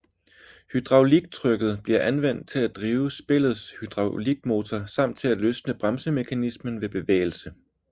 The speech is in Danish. Hydrauliktrykket bliver anvendt til at drive spillets hydraulikmotor samt til at løsne bremsemekanismen ved bevægelse